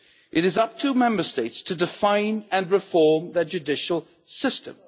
It is up to Member States to define and reform their judicial system.